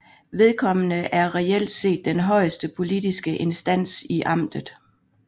Vedkommende er reelt set den højeste politiske instans i amtet